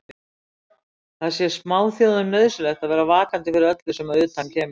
Það sé smáþjóðum nauðsyn að vera vakandi fyrir öllu sem að utan kemur.